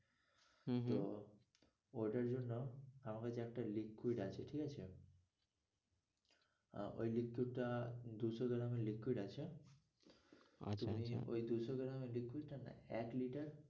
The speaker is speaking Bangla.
হম হম তো ওটার জন্য আমার কাছে একটা liquid আছে ঠিকআছে আহ ওই liquid টা দুশো gram এর liquid আছে আচ্ছা আচ্ছা ওই দুশো gram টা না এক litter